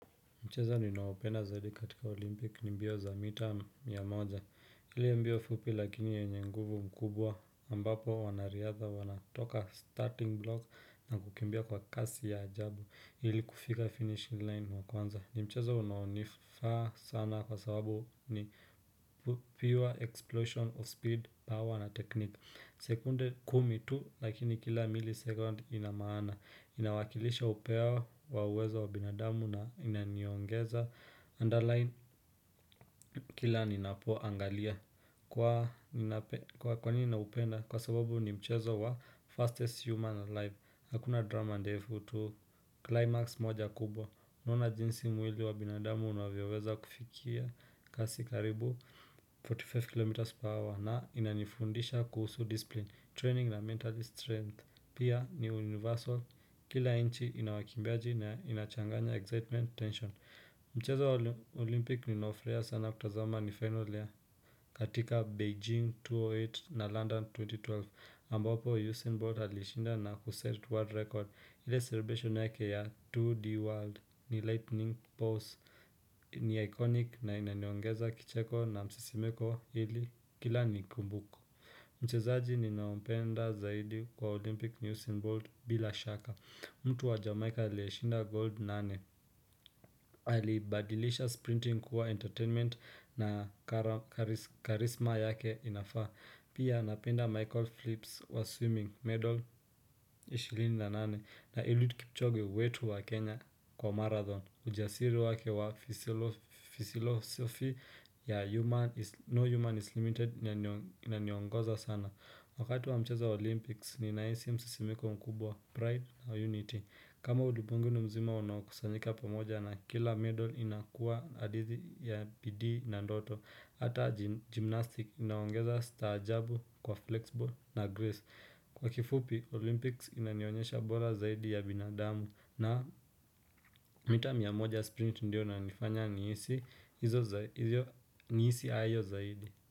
Mchezo ninaopenda zaidi katika olimpiki ni mbio za mita mia moja. Ile mbio fupi lakini yenye nguvu mkubwa ambapo wanariadha wanatoka starting block na kukimbia kwa kasi ya ajabu ili kufika finishing line wa kwanza. Ni mchezo unaonifaa sana kwa sababu ni pure explosion of speed, power na technique. Sekunde kumi tu lakini kila milisecond ina maana. Inawakilisha upeo wa uwezo wa binadamu na inaniongeza Underline kila ninapoangalia. Kwa nini naupenda. Kwa sababu ni mchezo wa fastest human in life. Hakuna drama ndefu tu climax moja kubwa. Naona jinsi mwili wa binadamu unavyoweza kufikia kasi karibu arobaini na tano km per hour. Na inanifundisha kuhusu discipline Training na mental strength. Pia ni universal. Kila nchi ina wakimbiaji na inachanganya excitement tension. Mchezo wa olimpiki ninaofurahia sana kutazama ni final year. Katika Beijing mia mbili na nane na London elfu mbili na kumi na mbili ambapo Usain Bolt alishinda na kuset world record. Ile celebration yake ya 2D World ni lightning post. Ni iconic na inaniongeza kicheko na msisimko ili kila nikikumbuka mchezaji ninaompenda zaidi kwa Olympic News and World bila shaka. Mtu wa Jamaica aliyeshinda gold nane. Alibadilisha sprinting kuwa entertainment na Charisma yake inafaa. Pia napenda Michael Phillips wa swimming medal ishirini na nane. Na Eliud kipchoge wetu wa Kenya kwa marathon. Ujasiri wake wa philosophy ya No Human is Limited inaniongoza sana. Wakati wa mchezo wa Olympics, ninahisi msisimko mkubwa pride na unity. Kama udiungu ni mzima unaokusanyika pamoja na kila medal inakuwa hadithi ya bidii na doto. Hata gymnastic inaongeza staajabu kwa flexible na grace. Kwa kifupi, Olympics inanionyesha bora zaidi ya binadamu na mita mia moja sprint ndiyo inanifanya nihisi hayo zaidi.